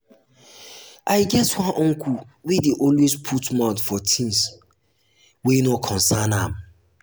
i get one uncle wey dey always put mouth for tins mouth for tins wey no concern am.